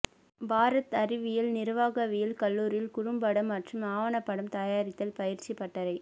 பாரத் அறிவியல் நிர்வாகவியல் கல்லூரியில் குறும்படம் மற்றும் ஆவணப்படம் தயாரித்தல் பயிற்சி பட்டறை